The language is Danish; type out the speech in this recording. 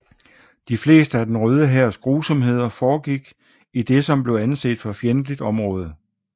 De fleste af den Røde Hærs grusomheder foregik i det som blev anset for fjendtligt område